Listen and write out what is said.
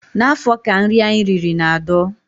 N'afọ ka nri anyị riri na-adọ.